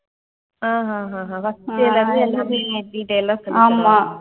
ஆஹ் ஆஹ் ஆஹ் ஆஹ் first year ல இருந்து எல்லாமே detailed ஆ சொல்லித் தருவாங்க.